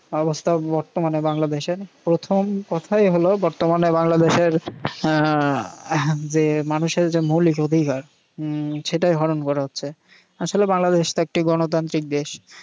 অবস্থা বর্তমানে বাংলাদেশের প্রথম কথাই হল বর্তমান বাংলাদেশের হম যে মানুষের যে মৌলিক অধিকার উম সেটাই হরণ করা হচ্ছে। আসলে বাংলাদেশ তো একটি গণতান্ত্রিক দেশ।